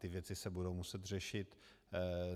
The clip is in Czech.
Ty věci se budou muset řešit.